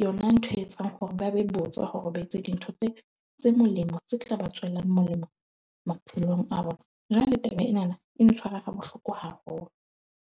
yona ntho e etsang hore ba be botswa hore ba etse dintho tse, tse molemo tse tla ba tswelang molemo maphelong a bona. Jwale taba ena na e ntshwara ha bohloko haholo.